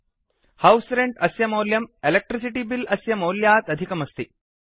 house rent अस्य मौल्यं electricity bill अस्य मौल्यात् अधिकमस्ति